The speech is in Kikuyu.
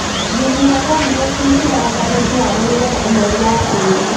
Thumu wa Komposti wĩkĩragwo ngano ĩkĩhandwo nĩgetha ũnoru watĩri.